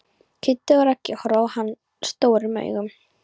Kiddi og Raggi horfa á hann stórum augum.